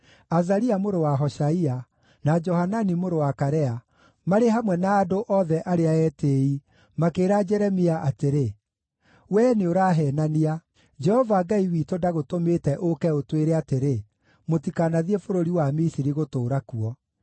Azaria mũrũ wa Hoshaia, na Johanani mũrũ wa Karea, marĩ hamwe na andũ othe arĩa etĩĩi, makĩĩra Jeremia atĩrĩ, “Wee nĩũraheenania! Jehova Ngai witũ ndagũtũmĩte ũũke ũtwĩre atĩrĩ, ‘Mũtikanathiĩ bũrũri wa Misiri gũtũũra kuo.’